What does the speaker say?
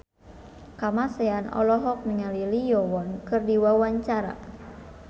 Kamasean olohok ningali Lee Yo Won keur diwawancara